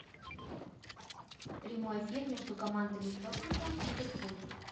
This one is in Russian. прямой эфир между командами тоттенхэм ливерпуль